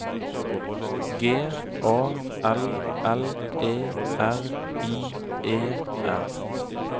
G A L L E R I E R